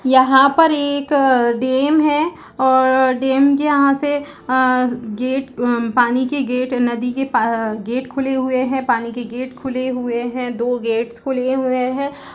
यहाँ पर ये एक डैम है और डैम के यहाँ से अअअ गेट पानी की गेट नदी के प गेट खुले हुए है पानी के गेट खुले हुए है दो गेट खुले हुए है।